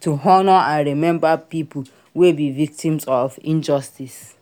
to honor and remember pipo wey be victims of injustice